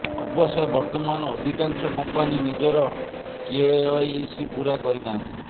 ଅବଶ୍ୟ ବର୍ତ୍ତମାନ ଅଧିକାଂଶ କମ୍ପାନୀ ନିଜର କେୱାଇସି ପୂରା କରିନାହାନ୍ତି